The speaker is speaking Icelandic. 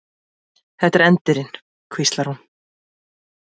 Þetta er endirinn, hvíslar hún.